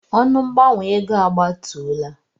Ọnụ mgbanwe ego a gbatuola.